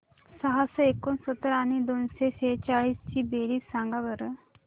सहाशे एकोणसत्तर आणि दोनशे सेहचाळीस ची बेरीज सांगा बरं